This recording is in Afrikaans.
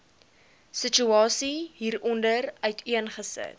situasie hieronder uiteengesit